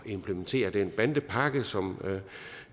implementere den bandepakke som